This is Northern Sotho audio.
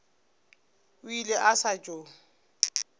o ile a sa tšo